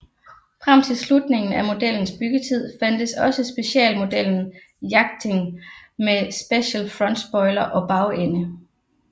Frem til slutningen af modellens byggetid fandtes også specialmodellen Yachting med speciel frontspoiler og bagende